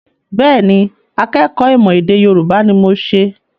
Bẹ́ẹ̀ ni, akẹ́kọ̀ọ́ ìmọ̀-ẹ̀dèYorubá ni mo ṣe.